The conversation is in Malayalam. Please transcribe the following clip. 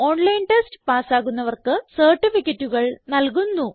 ഓൺലൈൻ ടെസ്റ്റ് പാസ്സാകുന്നവർക്ക് സർട്ടിഫികറ്റുകൾ നല്കുന്നു